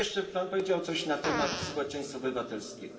Pan powiedział coś na temat społeczeństwa obywatelskiego.